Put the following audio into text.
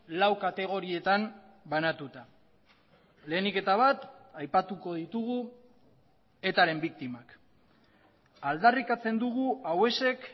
lau kategorietan banatuta lehenik eta bat aipatuko ditugu etaren biktimak aldarrikatzen dugu hauexek